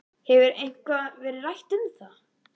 Hefur eitthvað verið rætt um það?